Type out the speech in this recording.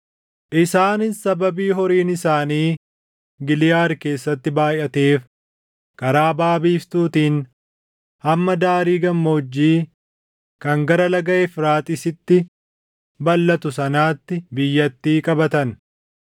Isaanis sababii horiin isaanii Giliʼaadi keessatti baayʼateef karaa baʼa biiftuutiin hamma daarii gammoojjii kan gara laga Efraaxiisitti balʼatu sanaatti biyyattii qabatan.